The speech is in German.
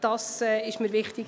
Das war mir wichtig.